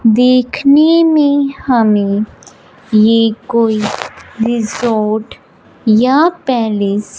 देखने में हमें ये कोई रिसॉर्ट या पैलेस --